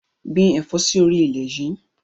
Gbìn ẹ̀fọ́ sì orí ilẹ̀ yìí!